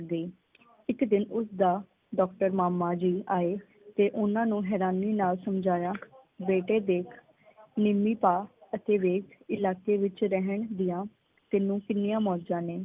ਇਕ ਦਿਨ ਉਸ ਦਾ ਡਾਕਟਰ ਮਾਮਾ ਜੀ ਆਏ ਤੇ ਉਨ੍ਹਾਂ ਨੂੰ ਹੈਰਾਨੀ ਨਾਲ ਸਮਝਾਇਆ ਬੇਟੇ ਦੇਖ ਨੀਵੀਂ ਪਾ ਅਤੇ ਵੇਖ ਇਲਾਕੇ ਵਿਚ ਰਹਿਣ ਦੀਆਂ ਤੈਨੂੰ ਕਿੰਨੀਆਂ ਮੌਜਾਂ ਨੇ।